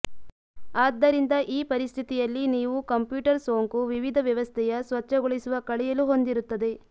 ಆದ್ದರಿಂದ ಈ ಪರಿಸ್ಥಿತಿಯಲ್ಲಿ ನೀವು ಕಂಪ್ಯೂಟರ್ ಸೋಂಕು ವಿವಿಧ ವ್ಯವಸ್ಥೆಯ ಸ್ವಚ್ಛಗೊಳಿಸುವ ಕಳೆಯಲು ಹೊಂದಿರುತ್ತದೆ